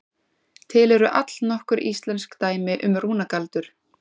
Til eru allnokkur íslensk dæmi um rúnagaldur.